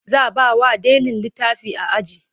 Za bawa ɗalin litafi a aji